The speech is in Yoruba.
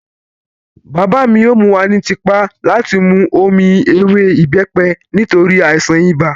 Bàbá mi yóò mú wa ní tipá láti mú omi ewé ìbẹ́pẹ nítorí àìsàn ibà